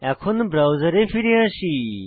এখন ব্রাউজার ফিরে আসি